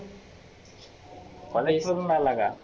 मला विचारुन राहीला का?